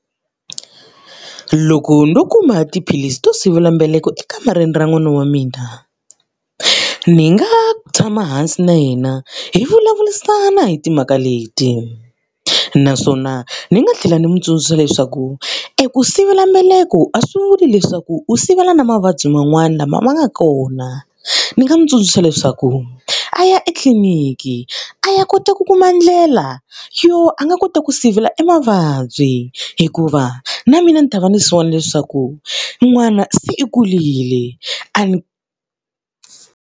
Loko ndzo kuma tiphilisi to sivelambeleko ekamareni ra n'wina wa mina, ni nga tshama hansi na yena hi vulavurisana hi timhaka leti. Naswona ni nga tlhela ndzi n'wi tsundzuxa leswaku eku sivelambeleko a swi vuli leswaku u sivela na mavabyi man'wana lama ma nga kona. Ni nga n'wi tsundzuxa leswaku a ya etliliniki a ya kota ku kuma ndlela yo a nga kota ku sivela e mavabyi hikuva, na mina ni ta va ni swi vona leswaku n'wana se i kurile a ni.